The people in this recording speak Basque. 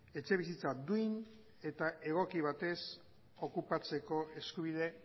etxebizitza duin eta egoki batez okupatzeko eskubide